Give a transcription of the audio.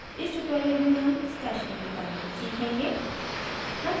इस tutorial में हम stashing के बारे में सीखेंगे